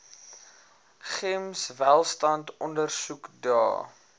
gems welstand ondersoekdae